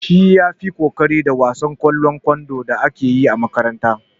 Shi ya fi ƙoƙari a wasan ƙwallon kwando da aka yi a makarantar.